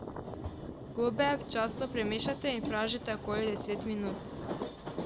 Gobe občasno premešajte in pražite okoli deset minut.